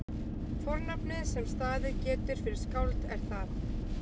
fornafnið sem staðið getur fyrir skáld er það